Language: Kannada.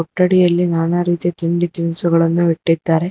ಅಂಗಡಿಯಲ್ಲಿ ನಾನಾ ತಿಂಡಿ ತಿನಿಸುಗಳನ್ನು ಇಟ್ಟಿದ್ದಾರೆ.